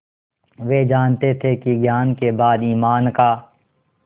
वे जानते थे कि ज्ञान के बाद ईमान का